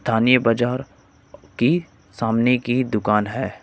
ताने बाजार की सामने की दुकान है।